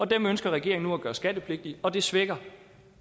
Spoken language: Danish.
dem ønsker regeringen nu at gøre skattepligtige og det svækker